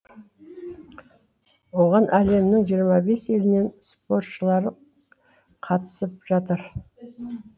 оған әлемнің жиырма бес елінен спортшылары қатысып жатыр